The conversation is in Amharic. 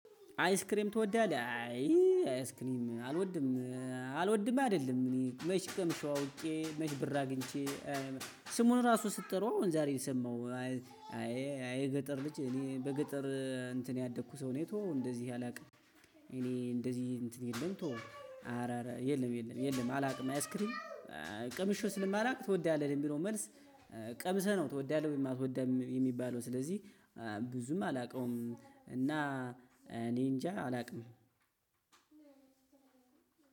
አይስክሬም ትወዳለህ? አይ አይስክሬም አልወድም። አልወድም አይደለም አኔ መች ቀምሸው አውቄ መች ብር አግኝቸ ስሙን ራሱ ስትጠራው አሁን ዛሬ ሰማሁ። አይ አይ የገጠር ልጅ እኔ በገጠር እንትን ያደኩ ሰው ነኝ። ተው እንደዚህ አላውቅም። እኔ እንደዚህ እንትን የለም ተው አረ አረ የለም የለም የለም አላውቅም አይስክሪን ቀምሸው ስለማላውቅ ትወዳለህ የሚለው መልስ ቀምሰህ ነው ትወዳለህ ወይም አትወዳም የሚለው። ስለዚህ ብዙም አላውቀውም እና አኔጃ አላቅም።